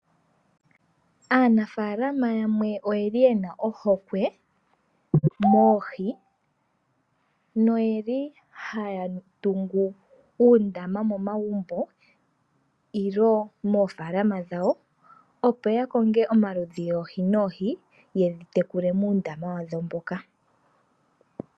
Aanafalama yamwe oyeli yena ohokwe moohi noyeli haya tungu uundama momagumbo, nenge moofalama opo yaka konge omaludhi goohi noohi, yedhi tekule muundama wadho mboka.